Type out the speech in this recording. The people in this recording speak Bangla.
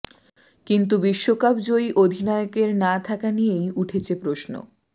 কিন্তু বিশ্বকাপজয়ী অধিনায়কের না থাকা নিয়েই উঠেছে প্রশ্ন